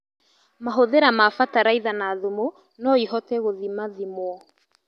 Mahũthĩro ma bataraitha na thumu noihote gũthima thimwo